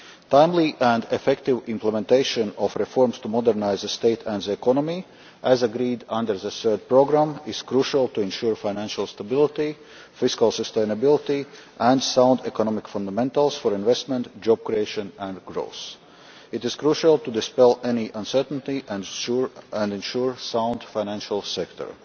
Timely and effective implementation of reforms to modernise the state and the economy, as agreed under the third programme, is crucial to ensure financial stability, fiscal sustainability and sound economic fundamentals for investment, job creation and growth. It is crucial to dispel any uncertainty and ensure a sound financial sector.